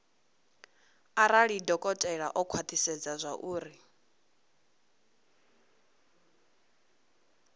arali dokotela o khwathisedza zwauri